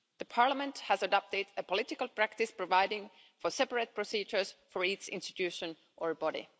Parliament has adopted a political practice providing for separate procedures for each institution or body.